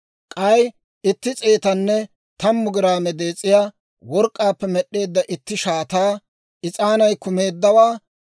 k'ay itti s'eetanne tammu giraame dees'iyaa work'k'aappe med'd'eedda itti shaataa, is'aanay kumeeddawaa;